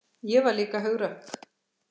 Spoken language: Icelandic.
Ég var líka hugrökk.